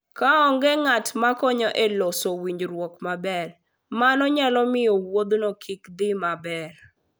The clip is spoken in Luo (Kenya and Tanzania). Ka onge ng'at makonyo e loso winjruok maber, mano nyalo miyo wuodhno kik dhi maber.